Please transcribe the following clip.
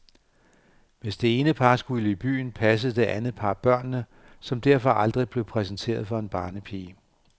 Hvis det ene par skulle i byen, passede det andet par børnene, som derfor aldrig blev præsenteret for en barnepige.